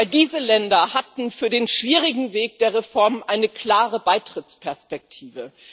Denn diese Länder hatten für den schwierigen Weg der Reformen eine klare Beitrittsperspektive.